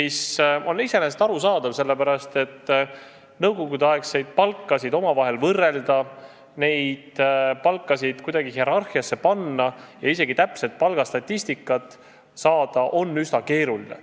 See on iseenesest arusaadav, sest nõukogudeaegseid palkasid kuidagi hierarhiasse panna ja isegi täpset palgastatistikat saada on üsna keeruline.